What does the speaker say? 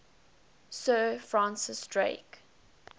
sir francis drake